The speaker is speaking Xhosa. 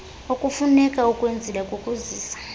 okufuneka ukwenzile kukuzisa